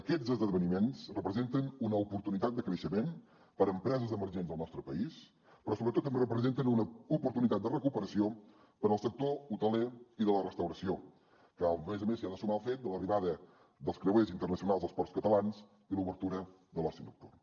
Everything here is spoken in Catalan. aquests esdeveniments representen una oportunitat de creixement per empreses emergents del nostre país però sobretot representen una oportunitat de recuperació per al sector hoteler i de la restauració que a més a més s’hi ha de sumar el fet de l’arribada dels creuers internacionals als ports catalans i l’obertura de l’oci nocturn